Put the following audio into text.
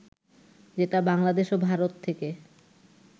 যেটা বাংলাদেশ ও ভারত থেকে